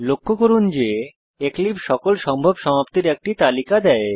লক্ষ্য করুন যে এক্লিপসে সকল সম্ভব সমাপ্তির একটি তালিকা দেয়